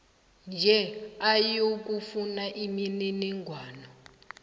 nje ayokufuna imininingwana